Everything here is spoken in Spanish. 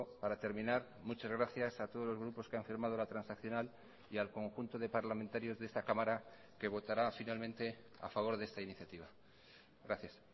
para terminar muchas gracias a todos los grupos que han firmado la transaccional y al conjunto de parlamentarios de esta cámara que votará finalmente a favor de esta iniciativa gracias